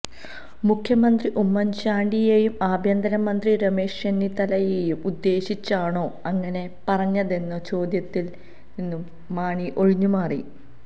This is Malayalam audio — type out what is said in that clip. മുഖ്യമന്ത്രി ഉമ്മന്ചാണ്ടിയെയും ആഭ്യന്തര മന്ത്രി രമേശ് ചെന്നിത്തലയേയും ഉദ്ദേശിച്ചാണോ അങ്ങനെ പറഞ്ഞതെന്ന ചോദ്യത്തില് നിന്നു മാണി ഒഴിഞ്ഞു മാറി